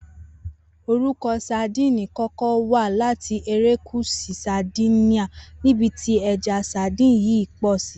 Orúko̩ ‘Sadíìni’ kó̩ko̩ wá láti erékùs̩ù Sardinia ní́bi tí e̩ja sadíìnì yìí pò̩ sí